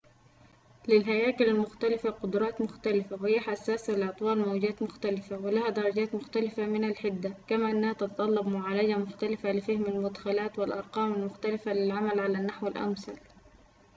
للهياكل المختلفة قدرات مختلفة وهي حساسة لأطوال موجات مختلفة ولها درجات مختلفة من الحدة كما أنها تتطلب معالجة مختلفة لفهم المدخلات والأرقام المختلفة للعمل على النحو الأمثل